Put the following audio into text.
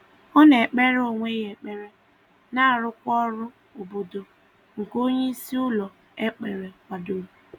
Ọ na-ekpere onwe ya ekpere na arụkwa ọrụ obodo nke onyeisi ụlọ ekpere kwadoro